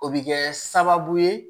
O bɛ kɛ sababu ye